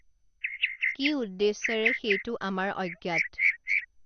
কি উদ্দেশ্যেৰে সেইটো আমাৰ অজ্ঞাত